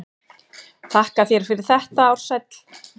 Þakka þér fyrir þetta Ársæll.